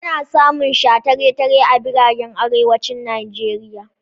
Ana samun shataletale a biranen arewacin Nijeriya.